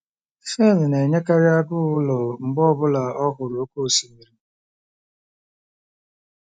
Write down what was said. Fern na-enwekarị agụụ ụlọ mgbe ọ bụla ọ hụrụ oké osimiri.